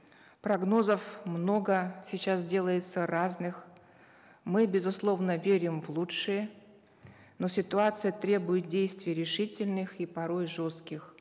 прогнозов много сейчас делается разных мы безусловно верим в лучшее но ситуация требует действий решительных и порой жестких